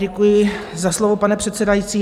Děkuji za slovo, pane předsedající.